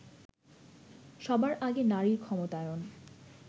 সবার আগে নারীর ক্ষমতায়ন